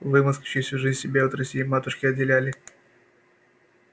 вы москвичи всю жизнь себя от россии матушки отделяли